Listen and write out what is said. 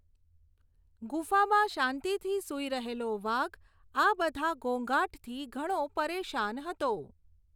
ગુફામાં શાંતિથી સૂઈ રહેલો વાઘ આ બધા ઘોંઘાટથી ઘણો પરેશાન હતો.